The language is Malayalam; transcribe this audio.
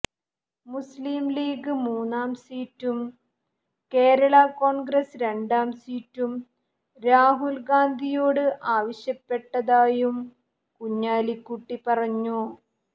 മുസ്ലീം ലീഗ് മൂന്നാം സീറ്റും കേരളാ കോൺഗ്രസ് രണ്ടാം സീറ്റും രാഹുൽ ഗാന്ധിയോട് ആവശ്യപ്പെടതായും കുഞ്ഞാലിക്കുട്ടി പറഞ്ഞു